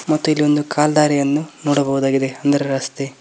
ಮತ್ತು ಇಲ್ಲಿ ಒಂದು ಕಾಲ್ ದಾರಿಯನ್ನು ನೋಡಬಹುದಾಗಿದೆ ಅಂದರೆ ರಸ್ತೆ.